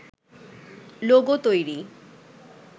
logo তৈরি